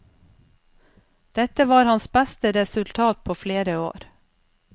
Dette var hans beste resultat på flere år.